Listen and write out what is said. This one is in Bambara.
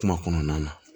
Kuma kɔnɔna na